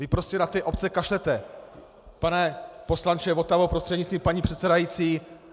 Vy prostě na ty obce kašlete, pane poslanče Votavo prostřednictvím paní předsedající!